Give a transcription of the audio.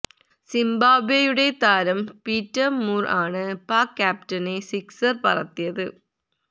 സിംബാബ്വെയുടെ താരം Peter Moore ആണ് പാക് ക്യാപ്റ്റനെ സിക്സർ പറത്തിയത്